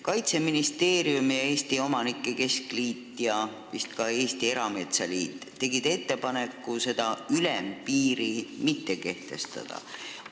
Kaitseministeerium, Eesti Omanike Keskliit ja vist ka Eesti Erametsaliit tegid ettepaneku ülempiiri mitte kehtestada.